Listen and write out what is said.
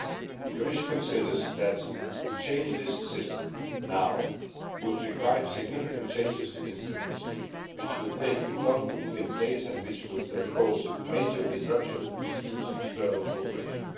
The Commission considers that to change this system now would require significant changes to instruments, which would take too long to put in place and which would cause major disruption to EU external cooperation.